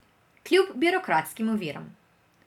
Kljub birokratskim oviram.